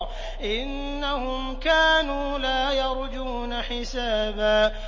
إِنَّهُمْ كَانُوا لَا يَرْجُونَ حِسَابًا